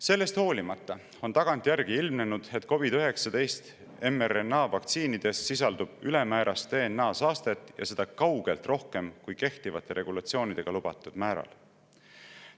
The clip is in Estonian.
Sellest hoolimata on tagantjärgi ilmnenud, et COVID‑19 mRNA-vaktsiinides sisaldub ülemäärast DNA-saastet, ja seda kaugelt rohkem kui kehtivate regulatsioonidega lubatud määral.